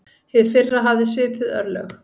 Hið fyrra hafði svipuð örlög.